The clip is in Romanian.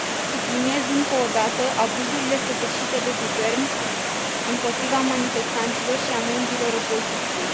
Subliniez încă o dată abuzurile săvârșite de guvern împotriva manifestanților și a membrilor opoziției.